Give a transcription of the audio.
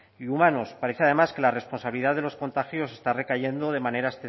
y humanos parece además que la responsabilidad de los contagios está recayendo de manera